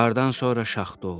Qardan sonra şaxta oldu.